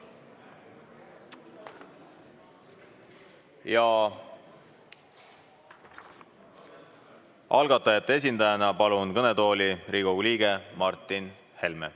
Palun kõnetooli algatajate esindajana Riigikogu liikme Martin Helme.